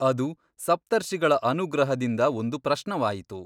ಅದು ಸಪ್ತರ್ಷಿಗಳ ಅನುಗ್ರಹದಿಂದ ಒಂದು ಪ್ರಶ್ನವಾಯಿತು.